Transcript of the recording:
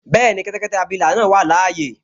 Bẹ́ẹ̀ni, kẹ́tẹ́kẹ́tẹ́ abilà náà wà láyé